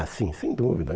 Ah, sim, sem dúvida.